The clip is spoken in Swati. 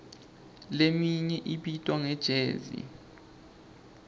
leminye ibitwa nge jezi